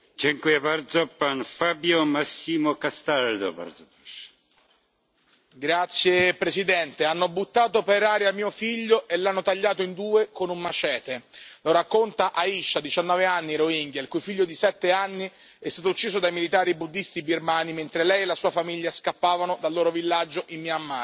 Signor Presidente, onorevoli colleghi, hanno buttato per aria mio figlio e l'hanno tagliato in due con un machete. Lo racconta Aisha, 19 anni, Rohingya, il cui figlio di sette anni è stato ucciso dai militari buddisti birmani mentre lei e la sua famiglia scappavano dal loro villaggio in Myanmar.